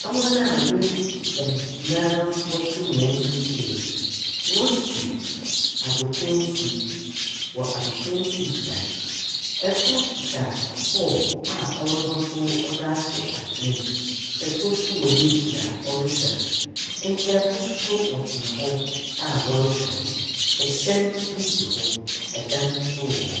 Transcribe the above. Hɔn a woedzi dzɛm na wɔtse hɔn wheelchair mu worisi agokansi wɔ agokansi bea, kor kitsa bɔɔl a ɔrobɔtow dze ato atsena mu, kor so wɔ n’ekyir a ɔrohwɛ no, nkaafo so wɔtsena hɔ a wɔrohwɛ hɔn, hyɛn bi si wɔ, dan so wɔ hɔ.